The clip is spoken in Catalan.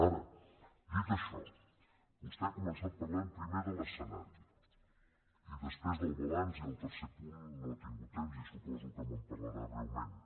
ara dit això vostè ha començat parlant primer de l’escenari i després del balanç i per al tercer punt no ha tingut temps i suposo que me’n parlarà breument